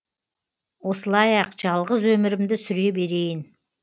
осылай ақ жалғыз өмірімді сүре берейін